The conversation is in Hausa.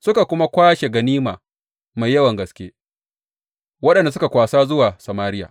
Suka kuma kwashe ganima mai yawan gaske, waɗanda suka kwasa zuwa Samariya.